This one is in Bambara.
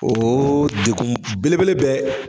Oo degun belebele bɛ